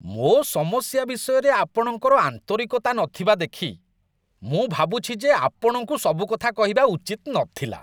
ମୋ ସମସ୍ୟା ବିଷୟରେ ଆପଣଙ୍କର ଆନ୍ତରିକତା ନଥିବା ଦେଖି ମୁଁ ଭାବୁଛି ଯେ ଆପଣଙ୍କୁ ସବୁକଥା କହିବା ଉଚିତ୍ ନଥିଲା।